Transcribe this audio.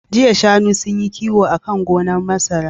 Jiya shanu sunyi kiwo akan gonar masara